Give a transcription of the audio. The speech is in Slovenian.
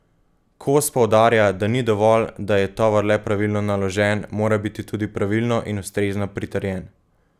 Kos poudarja, da ni dovolj, da je tovor le pravilno naložen, mora biti tudi pravilno in ustrezno pritrjen.